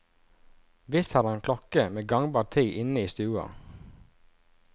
Visst har han klokke med gangbar tid inne i stua.